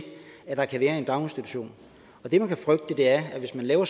at der kan være i en daginstitution det man kan frygte er at hvis man laver